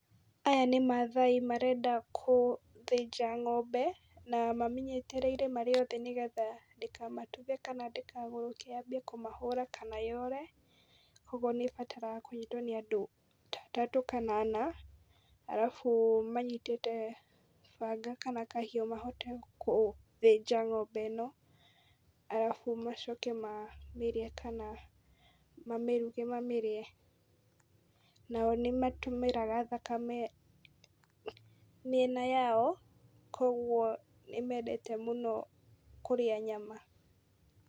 Aya nĩ mathai marenda kũthĩjna ng'ombe na mamĩnyitĩrĩire marĩ othe nĩ getha ndĩkamatuthe kana ndĩkagũrũke yanjie kũmahũra kana yũre, kũoguo nĩ ĩbataraga kũnyitwo nĩ andũ, ta atatũ kana ana arabu manyitĩte banga kana kahiũ mahote kũthĩnja ng'ombe ĩno arabu macoke mamĩrĩe, kana mamĩruge mamĩrĩe. Nao nĩmatũmagĩra thakame mĩena yao, kũoguo nĩ mendete mũno kũrĩa nyama.